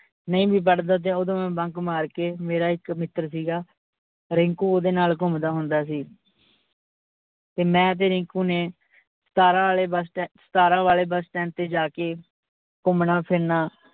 ਨਹੀਂ ਵੀ ਪੜਦਾ ਦਾ ਤੇ ਓਦੋ ਮੈਂ bunk ਮਾਰਕੇ ਮੇਰਾ ਇਕ ਮਿੱਤਰ ਸੀਗਾ, ਰਿੰਕੂ ਓਹਦੇ ਨਾਲ ਘੁੰਮਦਾ ਹੁੰਦਾ ਸੀ ਤੇ ਮੈਂ ਤੇ ਰਿੰਕੂ ਨੇ ਸਤਾਰਾ ਆਲੇ bus stand ਸਤਾਰਾਂ ਵਾਲੇ bus stand ਤੇ ਜਾਕੇ ਘੁੰਮਣਾ ਫਿਰਣਾ।